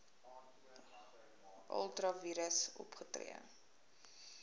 ultra vires opgetree